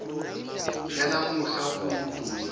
yanamuhla kuwudumo lwenu